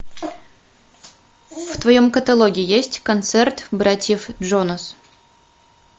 в твоем каталоге есть концерт братьев джонас